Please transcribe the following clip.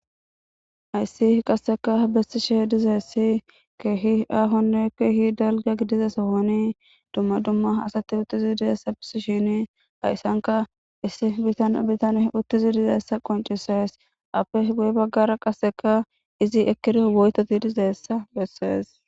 hayssi qasseka bessishe dizayissi keehi aahonne keehi dalga gidiza sohoni dumma dumma asati uttizi deessa bisishini hayssanka issi tan bitan uttizi dizayissa qoncisees ape guye baggara qasseka izi ekkiriyo woytoti dizayissa bessees